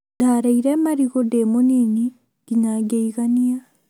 Ndarĩire marigũ ndĩ mũnini nginya ngĩigania